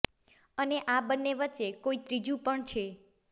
અને આ બંને વચ્ચે કોઈ ત્રીજું પણ છે